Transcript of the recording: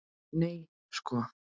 Nei sko!